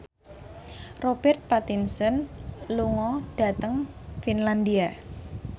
Robert Pattinson lunga dhateng Finlandia